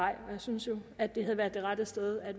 og jeg synes jo at det havde været det rette sted at